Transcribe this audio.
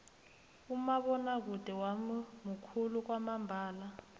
umabonwakude wami mukhulu kwamambala